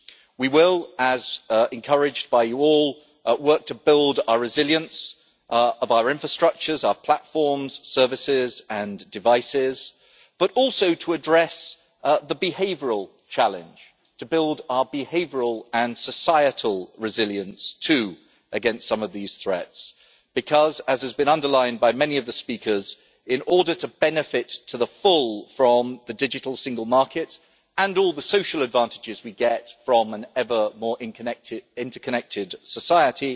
We will, as encouraged by you all, work to build the resilience of our infrastructures, our platforms, services and devices, but also to address the behavioural challenge to build our behavioural and societal resilience too against some of these threats, because, as has been underlined by many of the speakers, in order to benefit to the full from the digital single market and all the social advantages we get from an ever more interconnected society,